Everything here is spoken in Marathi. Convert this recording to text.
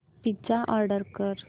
पिझ्झा ऑर्डर कर